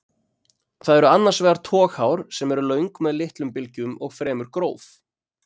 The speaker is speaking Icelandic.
Það eru annars vegar toghár sem eru löng með litlum bylgjum og fremur gróf.